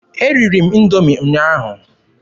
Eriri m Indoomi ụnyaahụ.